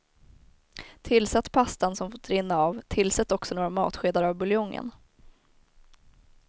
Tillsätt pastan som fått rinna av, tillsätt också några matskedar av buljongen.